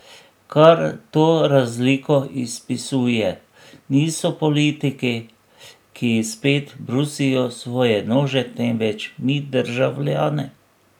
Kar to razliko izpisuje, niso politiki, ki spet brusijo svoje nože, temveč mi, državljani.